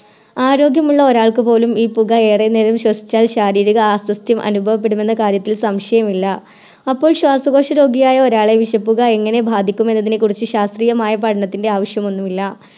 ആരോഗ്യമുള്ള ഒരാൾക്കുപോലും ഈ പുക ഏറെ നേരം ശ്വസിച്ചാൽ ശാരീരിക അസ്വസ്ഥ്യം അനുഭവപ്പെടുമെന്ന കാര്യത്തിൽ സംശയമില്ല അപ്പോൾ ശ്വാസകോശരോഗിയായ ഒരാളെ വിഷപ്പുക എങ്ങനെ ബാധിക്കുമെന്നതിനെക്കുറിച്ച് ശാസ്ത്രീയമായ പഠനത്തിൻറെ ആവശ്യമൊന്നുമില്ല